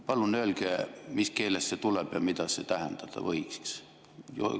Palun öelge, mis keelest see tuleb ja mida see tähendada võiks?